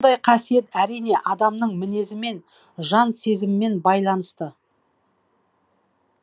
бұндай қасиет әрине адамның мінезімен жан сезімімен байланысты